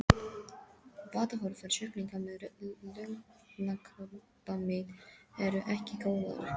Batahorfur sjúklinga með lungnakrabbamein eru ekki góðar.